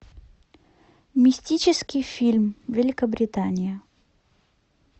мистический фильм великобритания